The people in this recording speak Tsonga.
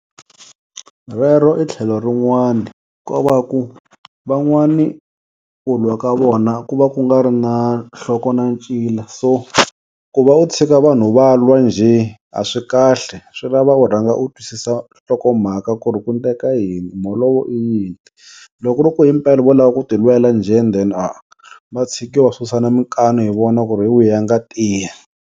Rero i tlhelo rin'wani, ko va ku van'wani ku lwa ka vona ku va ku nga ri na nhloko na ncila so ku va u tshika vanhu va lwa njhe a swi kahle, swi lava u rhanga u twisisa hlokomhaka ku ri ku ndleka yini, mholovo i yini. Loko ku ri ku himpela vo lava ku ti lwela njhe then va tshikiwa va susana minkani hi vona ku ri hi wihi a nga tiya.